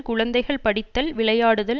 குழந்தைகள் படித்தல் விளையாடுதல்